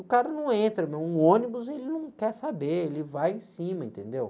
O cara não entra, meu, um ônibus, ele não quer saber, ele vai em cima, entendeu?